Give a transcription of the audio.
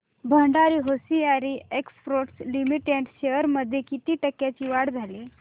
Bhandari hosiery exports limited shares मध्ये किती टक्क्यांची वाढ झाली